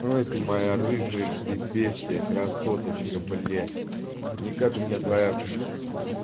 ой ты моя рыжая ж ты бестия красоточка бля никак у меня твоя